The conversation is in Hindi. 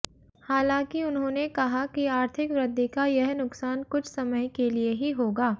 हालांकि उन्होंने कहा कि आर्थिक वृद्धि का यह नुकसान कुछ समय के लिए ही होगा